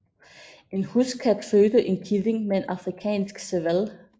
En huskat fødte en killing med en afrikansk serval